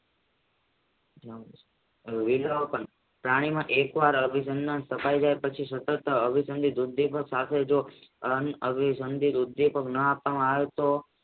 પ્રાણીમાં એક વાર અભિસંદન સફાઈ જાય પછી અભિસંદન ની વૃદ્ધિ સાથે જ ના આપવામાં આવે તો